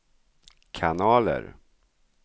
kanaler